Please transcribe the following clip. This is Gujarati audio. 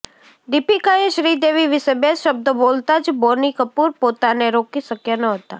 દીપિકાએ શ્રીદેવી વિશે બે શબ્દો બોલતા જ બોની કપૂર પોતાને રોકી શક્યા નહોતા